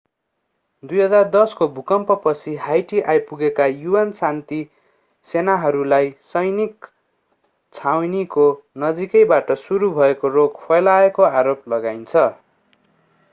2010 को भूकम्पपछी हाइटी आइपुगेका un शान्ति सेनाहरूलाई सैनिक छाउनीको नजिकैबाट सुरु भएको रोग फैलाएको आरोप लगाइन्छ